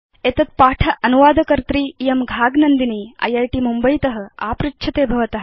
एतत् पाठ अनुवादकर्त्री इयं घाग नन्दिनी इत् मुम्बयीत आपृच्छते भवत